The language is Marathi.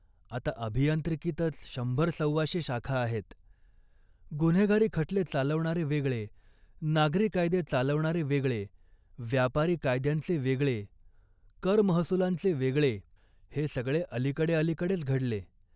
आता अभियांत्रिकीतच शंभर सव्वाशे शाखा आहेत. गुन्हेगारी खटले चालवणारे वेगळे, नागरी कायदे चालवणारे वेगळे, व्यपारी कायद्यांचे वेगळे, करमहसुलांचे वेगळे, हे सगळे अलीकडे अलीकडे घडले